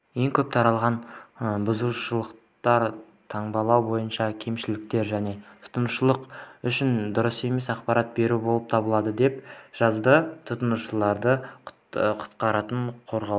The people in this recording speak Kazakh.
ең көп таралған бұзушылықтар таңбалау бойынша кемшіліктер және тұтынушылар үшін дұрыс емес ақпарат беру болып табылады деп жазады тұтынушылардың құқықтарын қорғау